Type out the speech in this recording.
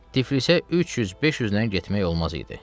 Tiflisə 300, 500-lə getmək olmaz idi.